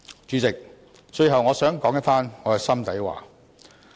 主席，最後我想說一番心底話。